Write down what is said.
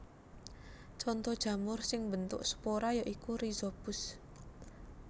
Conto jamur sing mbentuk spora ya iku Rhizopus